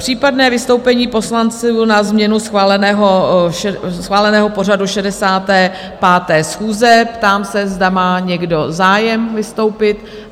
Případné vystoupení poslanců na změnu schváleného pořadu 65. schůze - ptám se, zda má někdo zájem vystoupit?